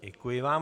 Děkuji vám.